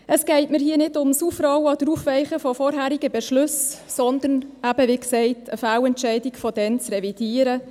Es geht mir hier nicht um das Aufrollen oder Aufweichen von vorangehenden Beschlüssen, sondern, wie gesagt, darum, eine Fehlentscheidung von damals zu revidieren.